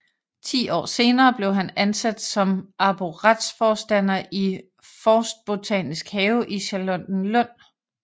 Ti år senere blev han ansat som arboretforstander i Forstbotanisk Have i Charlottenlund